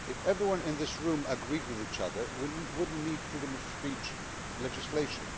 If everyone in this room agreed with each other, we would not need freedom of speech legislation.